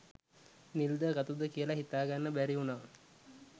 නිල්ද රතුද කියල හිතා ගන්න බැරි උනා